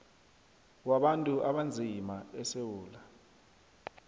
wabantu abanzima esewula